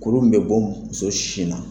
Kuru min bɛ bɔ musos sin na.